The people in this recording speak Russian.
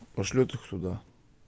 пошлёт их сюда